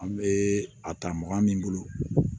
An bɛ a ta mɔgɔ min bolo